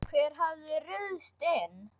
Hver hafði ruðst inn?